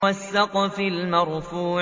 وَالسَّقْفِ الْمَرْفُوعِ